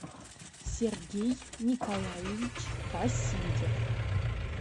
сергей николаевич васильев